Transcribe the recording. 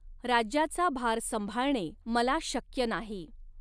राज्याचा भार संभाळणे मला शक्य नाही.